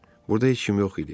Burda heç kim yox idi.